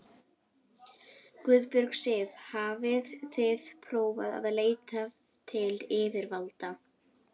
Guðbjörg Sif: Hafið þið prófað að leita til yfirvalda?